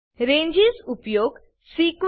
ranges ઉપયોગ sequence